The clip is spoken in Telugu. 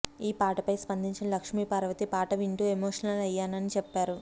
ఈ పాటపై స్పందించిన లక్ష్మీపార్వతి పాట వింటూ ఎమోషనల్ అయ్యానని చెప్పారు